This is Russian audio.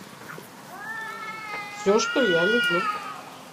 все что я люблю